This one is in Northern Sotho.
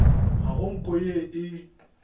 ga go nko ye e